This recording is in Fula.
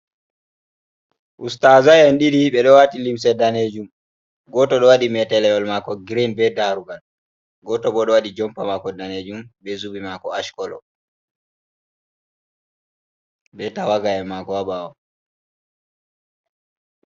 Ustazai en ɗiɗi ɓe ɗo wati limse danejum goto ɗo waɗi metelewol mako girin be darugal goto bo ɗo waɗi jompa mako danejum be zubi mako ash kolo be tawaga en mako ha ɓawo.